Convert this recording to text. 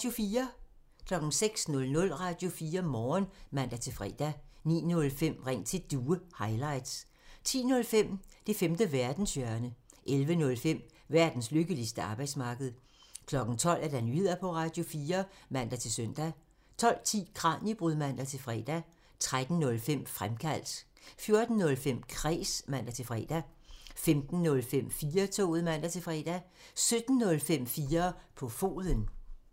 06:00: Radio4 Morgen (man-fre) 09:05: Ring til Due highlights 10:05: Det femte verdenshjørne (man) 11:05: Verdens lykkeligste arbejdsmarked (man) 12:00: Nyheder på Radio4 (man-søn) 12:10: Kraniebrud (man-fre) 13:05: Fremkaldt (man) 14:05: Kræs (man-fre) 15:05: 4-toget (man-fre) 17:05: 4 på foden (man)